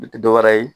U tɛ dɔ wɛrɛ ye